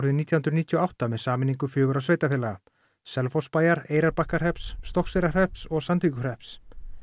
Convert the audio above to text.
nítján hundruð níutíu og átta með sameiningu fjögurra sveitarfélaga Selfossbæjar Eyrarbakkahrepps og Sandvíkurhrepps